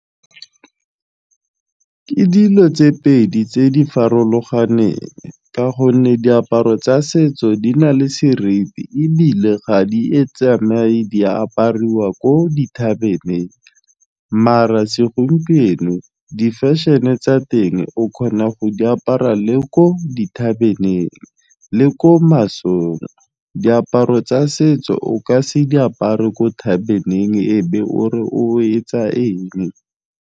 Ke ka dilo tse pedi tse di farologaneng ka gonne diaparo tsa setso di na le seriti ebile ga di e tsamaye di apariwa ko dithabeneng maar segompieno di fashion-e tsa teng o kgona go di apara le ko dithabeneng le ko masong diaparo tsa setso o ka se diapare ko thabebeneng o be o re o etsa eng.